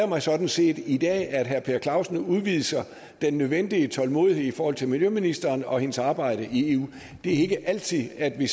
mig sådan set i dag at herre per clausen udviser den nødvendige tålmodighed i forhold til miljøministeren og hendes arbejde i eu det er ikke altid at vi